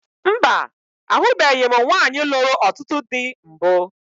Mba, ahụbeghi m nwaanyị lụrụ ọtụtụ dị mbụ